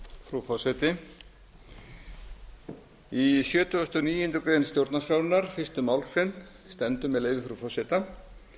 frú forseti í sjötugasta og níundu grein stjórnarskrárinnar fyrstu málsgrein stendur með leyfi frú forseta